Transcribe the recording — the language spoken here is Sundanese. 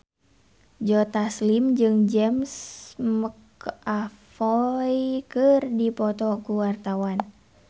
Joe Taslim jeung James McAvoy keur dipoto ku wartawan